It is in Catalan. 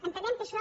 entenem que això